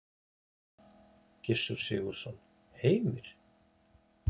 Gissur Sigurðsson: Heimir?